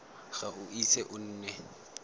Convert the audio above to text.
ga o ise o nne